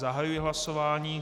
Zahajuji hlasování.